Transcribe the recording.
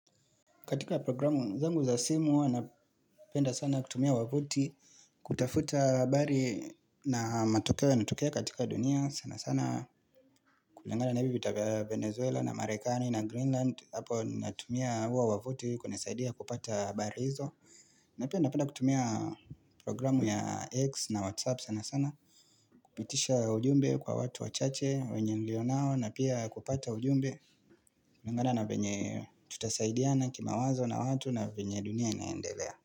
Katika programu zangu za simu huwa napenda sana kutumia wavuti kutafuta habari na matokeo yanatokea katika dunia sana sana kulingana na hivyo vita vya Venezuela na Marekani na Greenland hapo natumia huo wavuti kunisaidia kupata habari hizo na pia napenda kutumia programu ya X na WhatsApp sana sana kupitisha ujumbe kwa watu wachache wenye nilionao na pia kupata ujumbe kulingana na venye tutasaidia na kimawazo na watu na venye dunia inaendelea.